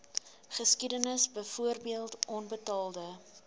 geskiedenis byvoorbeeld onbetaalde